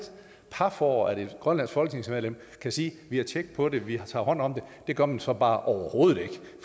paf over at et grønlandsk folketingsmedlem kan sige vi har tjek på det vi tager hånd om det det gør man så bare overhovedet ikke